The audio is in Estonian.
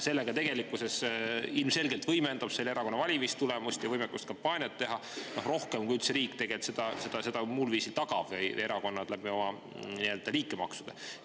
See tegelikkuses ilmselgelt võimendab selle erakonna valimistulemust ja võimekust teha kampaaniat rohkem, kui riigi tagatud või erakonna liikmemaksud.